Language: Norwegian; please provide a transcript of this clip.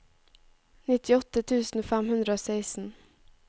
nittiåtte tusen fem hundre og seksten